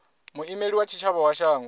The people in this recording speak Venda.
muimeli wa tshitshavha wa shango